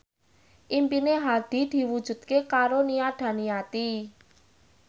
impine Hadi diwujudke karo Nia Daniati